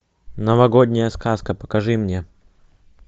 новогодняя сказка покажи мне